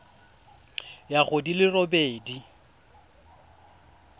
ya go di le robedi